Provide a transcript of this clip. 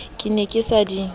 ke ne ke sa di